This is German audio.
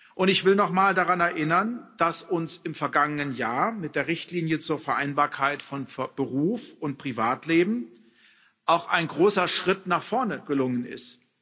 Und ich will nochmal daran erinnern, dass uns im vergangenen Jahr mit der Richtlinie zur Vereinbarkeit von Beruf und Privatleben auch ein großer Schritt nach vorne gelungen ist.